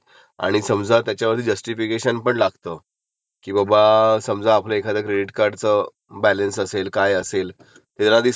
अम्म.....मी payment केलंय, तीन वेळा केलंय पण त्यांना रिव्हर्स ...रिस्व्हचं नाही झालंय. रिसिव्ह नाही झालंय मी माझ्या बॅकेत गेलो त्यांना सांगितलं असं